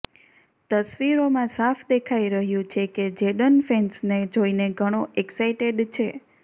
તસવીરોમાં સાફ દેખાઈ રહ્યું છે કે જેડન ફેન્સને જોઈને ઘણો એક્સાઇટેડ છે